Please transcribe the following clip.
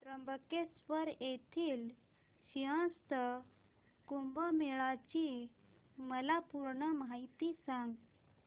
त्र्यंबकेश्वर येथील सिंहस्थ कुंभमेळा ची मला पूर्ण माहिती सांग